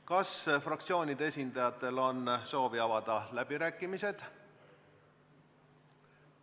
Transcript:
Kas fraktsioonide esindajatel on soovi avada läbirääkimised?